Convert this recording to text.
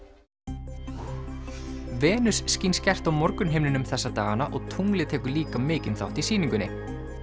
Venus skín skært á morgunhimninum þessa dagana og tunglið tekur líka mikinn þátt í sýningunni